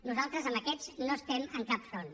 nosaltres amb aquests no estem en cap front